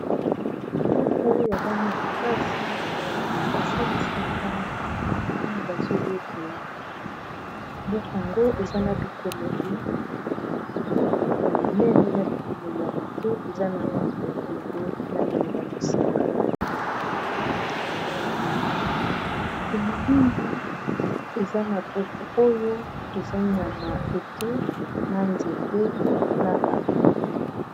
buku ya bana-kelasi basalisaka ntango bazoyekola buku ango eza na bikomeli ya minene na bikomeli ya mope eza na landi ya bembe na benge ya mosaka elilingi eza na buku oyo eza nyama ete na nzete na bato